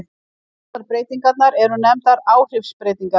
Báðar breytingarnar eru nefndar áhrifsbreytingar.